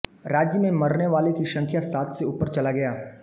राज्य में मरने वालों की संख्या सात से ऊपर चला गया